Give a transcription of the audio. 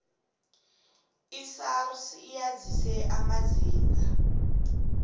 isars yazise amazinga